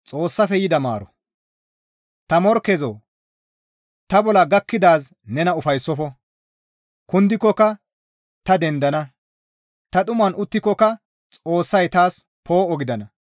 Ta morkkezoo! Ta bolla gakkidaazi nena ufayssofo; kundikokka ta dendana; Ta dhuman uttikokka Xoossay taas poo7o gidana.